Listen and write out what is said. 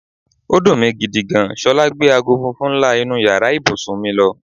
Ó dùn mi gidi gan. S̩o̩lá gbe aago funfun ńlá inú yàrá ibùsùn mi lo̩.